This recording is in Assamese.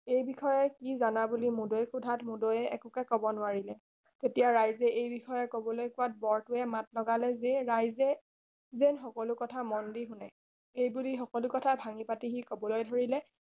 এই বিষয়ে কি জনা বুলি মূদৈক সোধাত মূদৈয়ে একোকে কব নোৱাৰিলে তেতিয়া ৰাইজে এই বিষয়ত কবলৈ কোৱাত বৰতোৱে মাত লগালে যে ৰাইজে যেন সকলো কথা মন দি শুনে এই বুলি সকলো কথা ভাঙি পাতি সি কবলৈ ধৰিলে